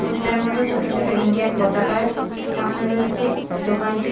poster -এর মধ্যে ছোট ছোট ইন্ডিয়ান পতাকার টাঙানো রয়েছে দোকানটি--